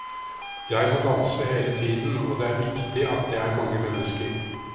Jeg må danse hele tiden, og det er viktig at det er mange mennesker.